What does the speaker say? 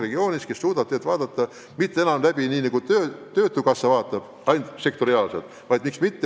Sel juhul ei vaadata probleemidele mitte enam nii, nagu näiteks praegu töötukassa vaatab, lähenedes neile ainult sektoriaalselt.